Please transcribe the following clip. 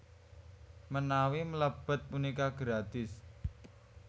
Menawi mlebet punika gratis